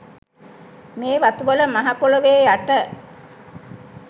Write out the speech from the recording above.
මේ වතුවල මහ පොළොවේ යට